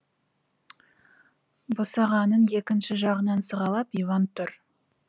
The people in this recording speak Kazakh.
босағанын екінші жағынан сығалап иван тұр